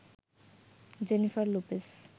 Jennifer Lopez